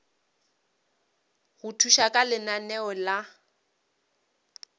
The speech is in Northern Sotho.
go thuša ka lenaneo la